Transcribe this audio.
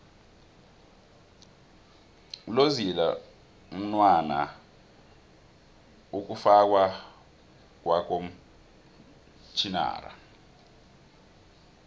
lolzila mnwana ikufakwa kwakomtjhinara